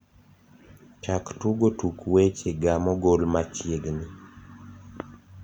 chak tugo tuk weche ga mogol machiegni